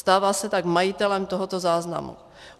Stává se tak majitelem tohoto záznamu.